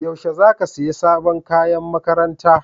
Yaushe za ka siya sabon kayan makaranta?